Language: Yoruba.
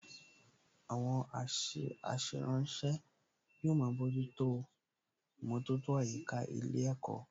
Àwọn aṣèrànwọ́ yóò máa bójútó ìmọ̀tótó àyíká ilé ẹ̀kọ́